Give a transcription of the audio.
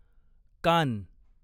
कान